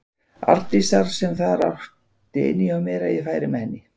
Arndísar sem átti það inni hjá mér að ég færi með henni.